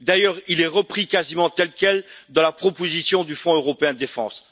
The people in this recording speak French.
D'ailleurs, il est repris quasiment tel quel dans la proposition du Fonds européen de défense.